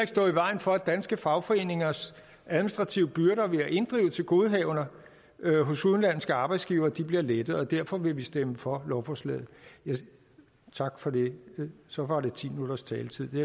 stå i vejen for at danske fagforeningers administrative byrder ved at inddrive tilgodehavender hos udenlandske arbejdsgivere bliver lettet og derfor vil vi stemme for lovforslaget tak for det så var det ti minutters taletid det